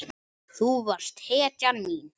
Þú varst hetjan mín.